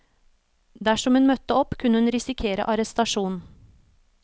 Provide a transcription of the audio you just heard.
Dersom hun møtte opp, kunne hun risikere arrestasjon.